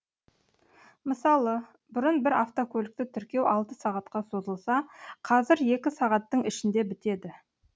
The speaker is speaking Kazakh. мысалы бұрын бір автокөлікті тіркеу алты сағатқа созылса қазір екі сағаттың ішінде бітеді